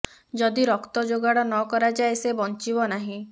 ଯଦି ରକ୍ତ ଯୋଗାଡ଼ ନ କରାଯାଏ ସେ ବଞ୍ଚିବ ନାହିଁ